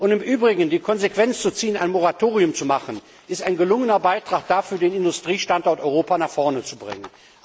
Und im Übrigen, die Konsequenz zu ziehen, ein Moratorium auszusprechen, ist ein gelungener Beitrag dazu, den Industriestandort Europa nach vorn zu bringen.